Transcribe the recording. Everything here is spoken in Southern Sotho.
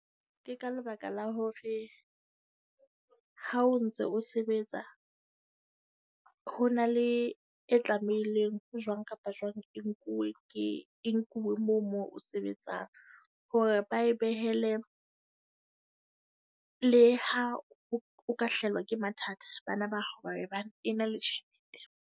Ke ka lebaka la hore ha o ntse o sebetsa, ho na le e tlamehileng jwang kapa jwang e nkuwe ke e nkuwe moo moo sebetsang. Hore ba e behele le ha o ka hlahelwa ke mathata, bana ba hao ba be bana e na le tjhelete.